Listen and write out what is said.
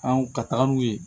An ka taga n'u ye